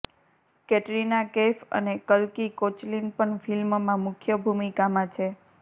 કેટરીના કૈફ અને કલ્કી કોચલિન પણ ફિલ્મમાં મુખ્ય ભૂમિકામાં છે